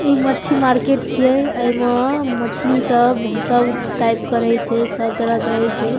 ई मच्छी मार्केट छिये अ ईमा मछली सब भूसा उ टाइप करई छे सब तरह करई छे।